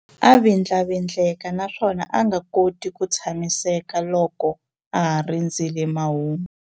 A vindlavindleka naswona a nga koti ku tshamiseka loko a ha rindzerile mahungu.